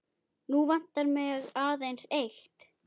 Nú vantar mig aðeins eitt!